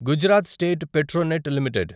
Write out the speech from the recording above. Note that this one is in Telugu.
Gujarat State Petronet limited